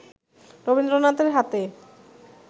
রবীন্দ্রনাথের হাতে